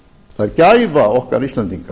það er gæfa okkar íslendinga